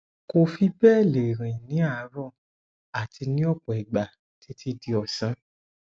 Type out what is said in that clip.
kò fi bẹẹ lè rìn ní àárọ àti ní ọpọ ìgbà títí di ọsán